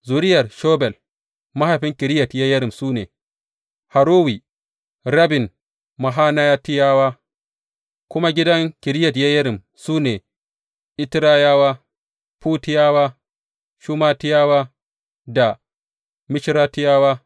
Zuriyar Shobal mahaifin Kiriyat Yeyarim su ne, Harowe, rabin Manahatiyawa, kuma gidan Kiriyat Yeyarim su ne, Itrayawa, Futiyawa, Shumatiyawa da Mishratiyawa.